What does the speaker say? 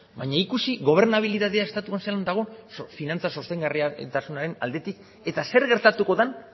baina ikusi gobernabilitatea estatuan zelan dagoen finantza sostengarritasunaren aldetik eta zer gertatuko den